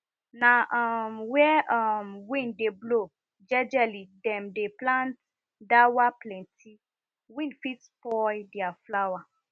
na um where um wind de blow jejely dem dey plant dawaplenty wind fit spoil their flower